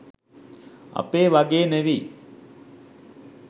අපේ වගේ නෙවි